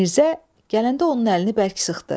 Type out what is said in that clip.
Mirzə gələndə onun əlini bərk sıxdı.